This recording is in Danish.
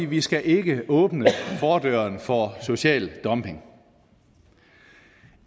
vi skal ikke åbne fordøren for social dumping